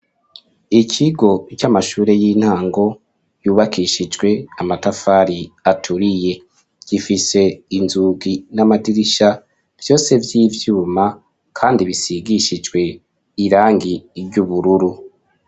Ikigo c'amashure y'intango, yubakishijwe amatafari aturiye; gifise inzugi n'amadirisha, vyose vy'ibyuma, kandi bisigishijwe, irangi ry'ubururu.